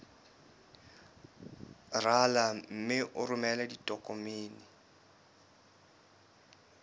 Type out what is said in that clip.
rala mme o romele ditokomene